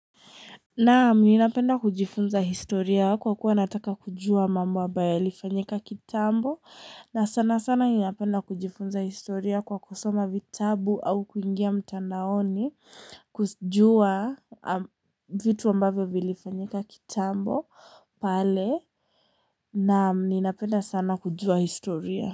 Naam napenda kujifunza historia kwa kuwa nataka kujua mambo ambayo yalifanyika kitambo na sana sana ninapenda kujifunza historia kwa kusoma vitabu au kuingia mtandaoni kuzijua vitu ambavyo vilifanyika kitambo pale naam ninapenda sana kujua historia.